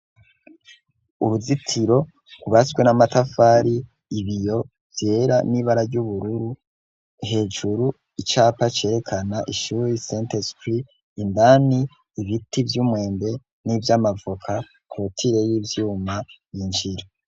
Uruzitiro gubaswe n'amatafari ibiyo vyera n'ibara ry'ubururu hejuru icapa cerekana ishuyi senter skri indani ibiti vy'umwembe n'ivyo amavuka kotire y'ivyuma injira.